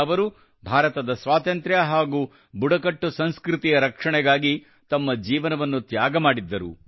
ಅವರು ಭಾರತದ ಸ್ವಾತಂತ್ರ್ಯ ಹಾಗೂ ಬುಡಕಟ್ಟು ಸಂಸ್ಕೃತಿಯ ರಕ್ಷಣೆಗಾಗಿ ತಮ್ಮ ಜೀವನವನ್ನು ತ್ಯಾಗ ಮಾಡಿದ್ದರು